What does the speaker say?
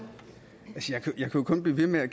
bliver ved med at